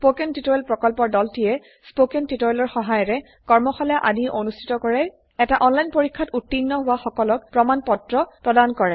spoken tutorial প্ৰকল্পৰ দলটিয়ে spoken টিওটৰিয়েলৰ সহায়েৰে কৰ্মশালা আদি অনুষ্ঠিত কৰে এটা অনলাইন পৰীক্ষাত উত্তীৰ্ণ হোৱা সকলক প্ৰমাণ পত্ৰ প্ৰদান কৰে